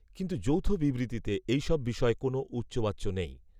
কিন্তু যৌথ বিবৃতিতে এই সব বিষয়ে কোনও উচ্চবাচ্য নেই